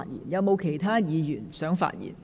是否有其他議員想發言？